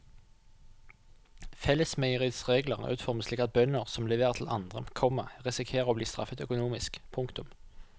Fellesmeieriets regler er utformet slik at bønder som leverer til andre, komma risikerer å bli straffet økonomisk. punktum